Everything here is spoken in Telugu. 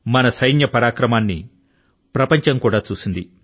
మన సైన్య పరాక్రమాన్ని ప్రపంచం కూడా చూసింది